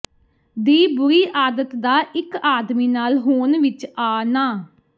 ਦੀ ਬੁਰੀ ਆਦਤ ਦਾ ਇੱਕ ਆਦਮੀ ਨਾਲ ਹੋਣ ਵਿੱਚ ਆ ਨਾ